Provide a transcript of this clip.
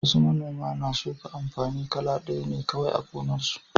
Wasu manoman na shuka amfani kala ɗaya ne kawai a gonarsu.